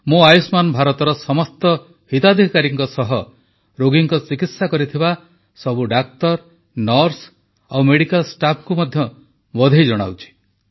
ମୁଁ ଆୟୁଷ୍ମାନ ଭାରତର ସମସ୍ତ ହିତାଧିକାରୀଙ୍କ ସହ ରୋଗୀଙ୍କ ଚିକିତ୍ସା କରିଥିବା ସମସ୍ତ ଡାକ୍ତର ନର୍ସ ଓ ମେଡିକାଲ ଷ୍ଟାଫଙ୍କୁ ମଧ୍ୟ ବଧେଇ ଜଣାଉଛି